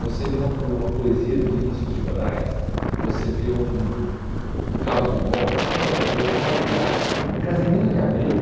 Você lê uma po uma poesia do Vinícius de Moraes, você vê um o um Carlos Dumont, um Manuel Bandeira, um Olavo Bilac, um Casimiro de Abreu.